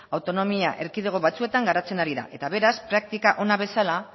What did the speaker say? autonomia erkidego batzuetan garatzen ari da eta beraz praktika ona bezala